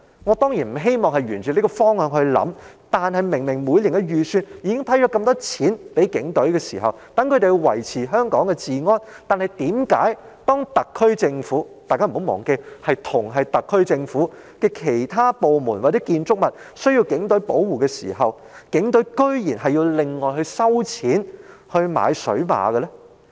我當然不希望沿這個方向思考，但每年的預算案明明已批核大量款項予警隊，供他們維持香港治安，為何當同屬特區政府轄下的其他政府部門或建築物需要警隊給予保護時，警隊卻要另外收錢購買水馬？